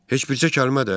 Heç bircə kəlmə də?